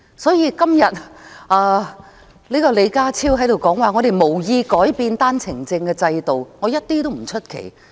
"所以，如果李家超今天在這裏說，特區政府無意改變單程證制度，我一點也不意外。